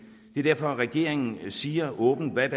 er derfor regeringen siger åbent hvad